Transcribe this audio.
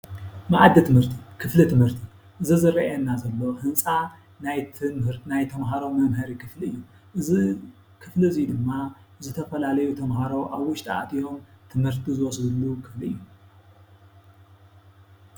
መኣዲ ትምህርቲ፦ ክፍሊ ትምህርቲ እዚ ዝረኣየና ዘሎ ህንፃ ናይ ትምህ ተምሃሮ መምሀሪ ክፍሊ እዩ። እዚ ክፍሊ እዚ ድማ ዝተፈላለዩ ተምሃሮ ኣብ ውሽጡ ኣትዮም ትምህርቲ ዝወስድሉ ክፍሊ እዩ።